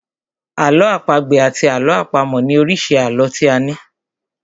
Àlọ́ àpagbè àti àlọ́ àpamọ̀ ni oríṣi àlọ́ tí a ní.